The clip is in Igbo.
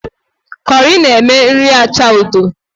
Kọrị na-eme nri acha odo